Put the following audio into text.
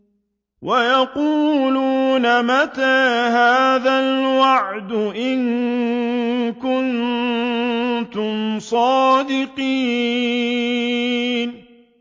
وَيَقُولُونَ مَتَىٰ هَٰذَا الْوَعْدُ إِن كُنتُمْ صَادِقِينَ